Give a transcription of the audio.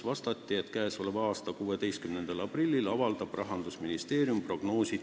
Vastati, et käesoleva aasta 16. aprillil avaldab Rahandusministeerium oma prognoosi.